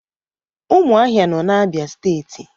Umuahia no na Abia steeti